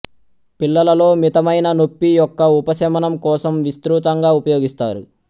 పిల్లలలో మితమైన నొప్పి యొక్క ఉపశమనం కోసం విస్తృతంగా ఉపయోగిస్తారు